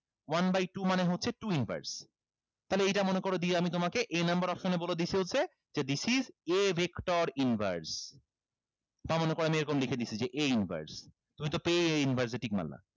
one by two মানে হচ্ছে two inverse তাহলে এইটা মনে করো দিয়ে আমি তোমাকে a number option বলে দিচ্ছে হচ্ছে যে this is a vector inverse তাও মনে করো আমি এরকম লিখে দিছি যে a inverse তুমি তো পেয়ে a inverse এ tick মারলা